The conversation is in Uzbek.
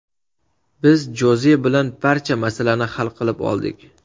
Biz Joze bilan barcha masalani hal qilib oldik.